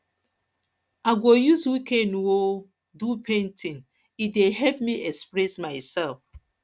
i go use weekend um do painting e dey help me express myself